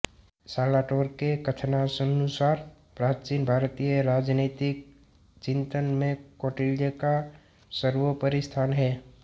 सालाटोर के कथनानुसार प्राचीन भारतीय राजनीतिक चिंतन में कौटिल्य का सर्वोपरि स्थान है